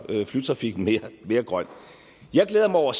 flytrafikken mere grøn jeg glæder mig over